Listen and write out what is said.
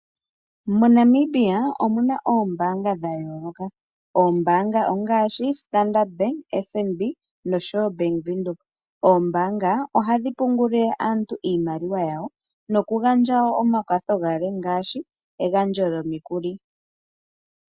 MoNamibia omu na oombaanga dha yoolokathana. Oombaanga ongaashi Standard BAnk, FNB noshowo oBank Windhoek. Oombaanga ohadhi pungulile aantu iimaliwa yawo nokugandja wo omakwatho galwe ngaashi egandja lyomikuli.